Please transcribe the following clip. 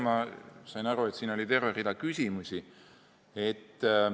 Ma sain aru, et siin oli terve rida küsimusi.